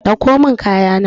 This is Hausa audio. Dauko min kaya na.